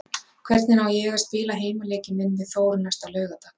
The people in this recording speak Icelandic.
Hvernig á ég að spila heimaleikinn minn við Þór næsta laugardag?